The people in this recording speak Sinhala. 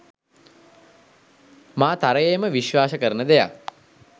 මා තරයේම විශ්වාස කරන දෙයක්